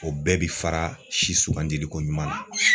O bɛɛ bi fara si sugandili ko ɲuman na.